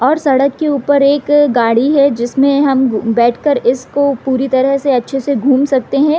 और सड़क के ऊपर एक गाड़ी है जिसमे हम बैठ कर इसको पूरी तरह से अच्छे से घुम सकते हैं |